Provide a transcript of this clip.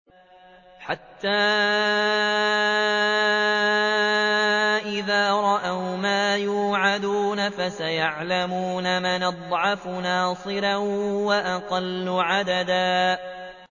حَتَّىٰ إِذَا رَأَوْا مَا يُوعَدُونَ فَسَيَعْلَمُونَ مَنْ أَضْعَفُ نَاصِرًا وَأَقَلُّ عَدَدًا